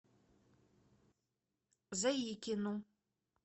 заикину